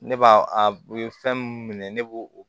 Ne b'a a ye fɛn mun minɛ ne b'o o